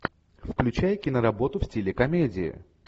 включай киноработу в стиле комедии